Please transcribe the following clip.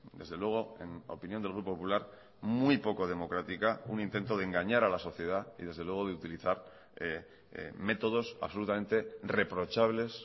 desde luego en opinión del grupo popular muy poco democrática un intento de engañar a la sociedad y desde luego de utilizar métodos absolutamente reprochables